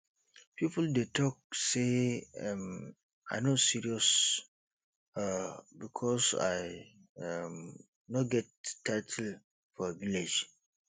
people dey talk say um i no serious um because i um no get title for village